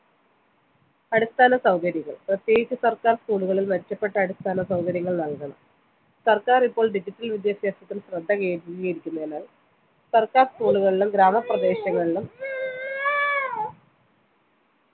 അടിസ്ഥാനസൗകര്യങ്ങൾ പ്രത്യേകിച്ച് സർക്കാർ school ഉകളിൽ മെച്ചപ്പെട്ട അടിസ്ഥാന സൗകര്യങ്ങൾ നൽകണം സർക്കാർ ഇപ്പോൾ digital വിദ്യാഭ്യാസത്തിന് ശ്രദ്ധ കേന്ദ്രികരിക്കുന്നതിനാൽ സർക്കാർ school ളുകളിലും ഗ്രാമപ്രതേശങ്ങളിലും